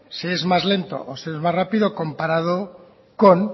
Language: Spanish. se es más lento o se es más rápido comparado con